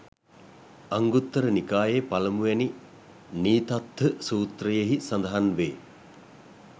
අංගුත්තර නිකායේ පළමුවැනි නීතත්ථ සූත්‍රයෙහි සඳහන් වේ.